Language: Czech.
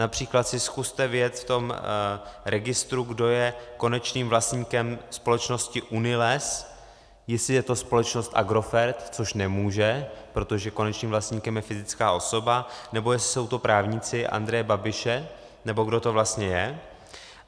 Například si zkuste vyjet v tom registru, kdo je konečným vlastníkem společnosti UNILES, jestli je to společnost Agrofert, což nemůže, protože konečným vlastníkem je fyzická osoba, nebo jestli jsou to právníci Andreje Babiše, nebo kdo to vlastně je.